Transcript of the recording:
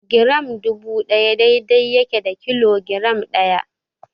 Giram dubu ɗaya daidai yake da kilogiram ɗaya.